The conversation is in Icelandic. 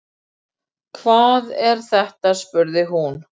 Hvað er þetta spurði hún.